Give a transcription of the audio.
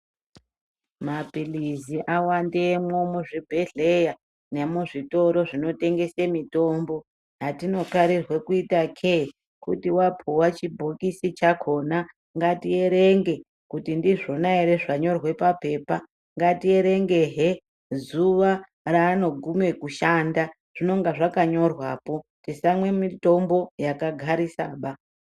Mapilizi awandemwo muzvibhedhleya nemuzvitoro zvinotengese mitombo, atinokarirwe kuita kee kuti wapiwa chibhokisi chakona ngati erenge kuti ndizvona ere zvanyora papepa ngati erenge zvee zuva raanoguma kushanda zvinonga zvakanyorwa poo tisamwe mitombo yakagarisa baa.